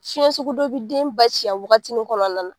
Fiɲɛ sugu dɔ bɛ den ba ci a wagatinin kɔnɔna na.